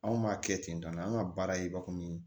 Anw b'a kɛ ten tɔ an ka baara ye bakuru ye